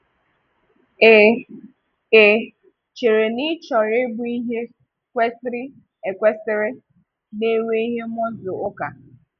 Ì Ì chere na ị chọrọ ịbụ ihe kwesìrè ékwesìrè na-enwe ihe muscle ùká?